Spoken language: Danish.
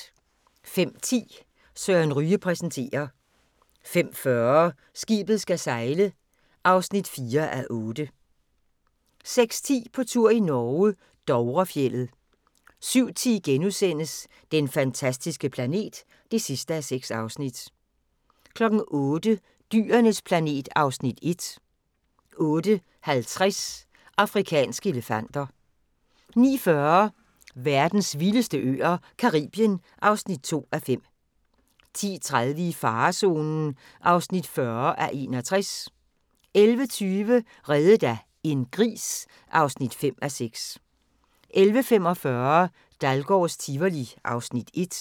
05:10: Søren Ryge præsenterer 05:40: Skibet skal sejle (4:8) 06:10: På tur i Norge: Dovrefjeldet 07:10: Den fantastiske planet (6:6)* 08:00: Dyrenes planet (Afs. 1) 08:50: Afrikanske elefanter 09:40: Verdens vildeste øer - Caribien (2:5) 10:30: I farezonen (40:61) 11:20: Reddet af en gris (5:6) 11:45: Dahlgårds Tivoli (Afs. 1)